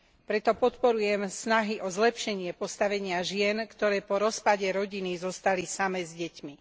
Preto podporujem snahy o zlepšenie postavenia žien, ktoré po rozpade rodiny zostali samé s deťmi.